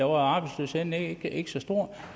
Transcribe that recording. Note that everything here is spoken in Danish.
var arbejdsløsheden ikke ikke så stor